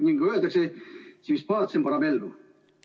Nagu öeldakse: si vis pacem, para bellum.